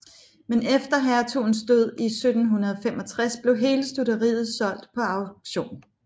Men efter hertugens død i 1765 blev hele stutteriet solgt på auktion